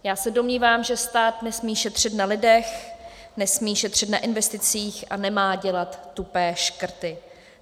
Já se domnívám, že stát nesmí šetřit na lidech, nesmí šetřit na investicích a nemá dělat tupé škrty.